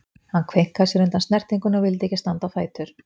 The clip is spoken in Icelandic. Hann kveinkaði sér undan snertingunni og vildi ekki standa á fætur.